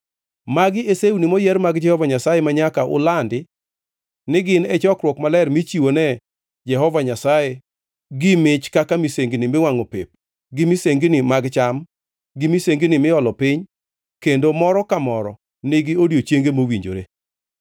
(“ ‘Magi e sewni moyier mag Jehova Nyasaye manyaka ulandi ni gin e chokruok maler michiwone Jehova Nyasaye gi mach kaka misengini miwangʼo pep, gi misengini mag cham gi misengini miolo piny kendo moro ka moro nigi odiechienge mowinjore.